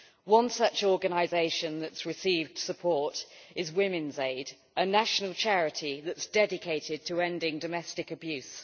One such organisation which has received support is Women's Aid, a national charity that is dedicated to ending domestic abuse.